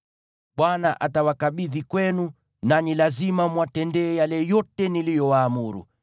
Bwana atawakabidhi kwenu, nanyi lazima mwatendee yale yote niliyowaamuru.